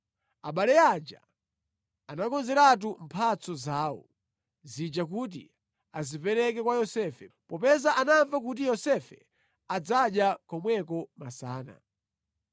Abale aja anakonzeratu mphatso zawo zija kuti adzapereke kwa Yosefe, popeza anamva kuti Yosefe adzadya komweko masana.